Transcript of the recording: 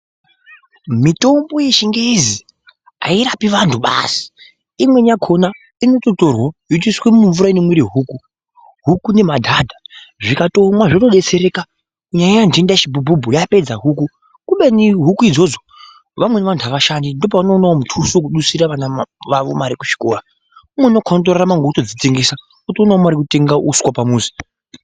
Mithombo yechingezi airapi vanthu basi, imweni yakhona inototorwa yotoiswe mumvura inomwire huku , huku nemadhadha, zvikatomwa zvotodetsereka. Nyaya yenhendachibhubhubhu yapedza huku kubeni huku idzodzo vamweni vanthu avashandi ndipo pavanoona muthuso wekudusira vana vavo kuzvikora, umweni unokhuwe kurarama ngekutodzitengesa otoonawo mari yekutenga uswa pamuzi.